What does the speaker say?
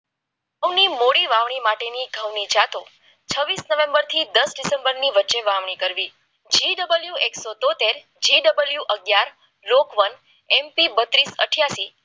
ઘઉંની મૂડી વાવણી માટે ની ઘઉ ની જાતો છવીસ નવેમ્બર થી દસ ડિસેમ્બર સુધીની વચ્ચે વાવણી કરવી જે ડબલ એક સો તોતેર લેવું અગિયાર લોકવાર્તા અઠ્યાસી